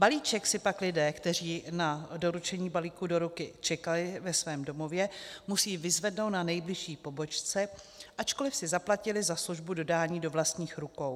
Balíček si pak lidé, kteří na doručení balíku do ruky čekali ve svém domově, musí vyzvednout na nejbližší pobočce, ačkoliv si zaplatili za službu dodání do vlastních rukou.